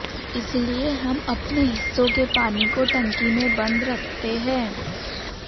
इसलिए हम अपने हिस्सों के पानी को टंकी में बन्द रखते हैं